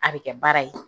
A bɛ kɛ baara ye